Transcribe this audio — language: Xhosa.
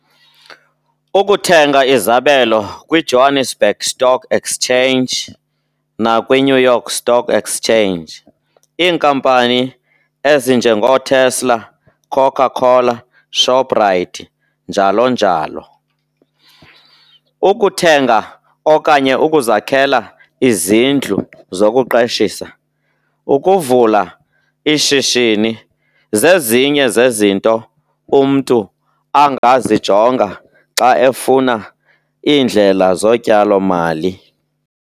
Ukuthenga izabelo kwi-Johannesburg Stock Exchange nakwi-New York Stock Exchange, iinkampani ezinjengooTesla, Coca Cola, Shoprite, njalo njalo. Ukuthenga okanye ukuzakhela izindlu zokuqeshisa, ukuvula ishishini, zezinye zezinto umntu angazijonga xa efuna iindlela zotyalomali.